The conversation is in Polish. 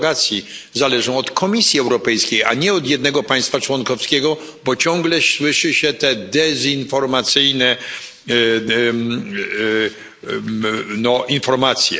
derogacji zależą od Komisji Europejskiej, a nie od jednego państwa członkowskiego, bo ciągle słyszy się te dezinformacyjne informacje.